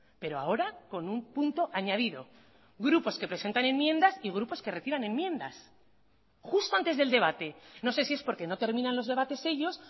pero ahora con un punto añadido grupos que presentan enmiendas y grupos que reciban enmiendas justo antes del debate no sé si es porque no terminan los debates ellos